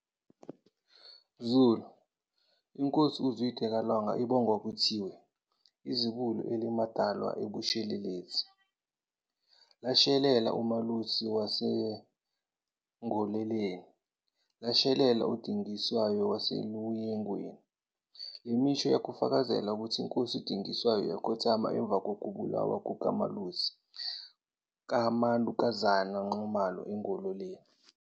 Zulu, INkosi uZwide kaLanga ibongwa kuthiwe "Izibuko elimadwala abushelelezi, lashelela uMalusi waseNgoleleni, lashelela uDingiswayo waseluYengweni." Le misho, iyakufakazela ukuthi, iNkosi uDingiswayo yakhothama emva kokubulawa kukaMalusi kaManukuza Nxumalo eNgoleleni.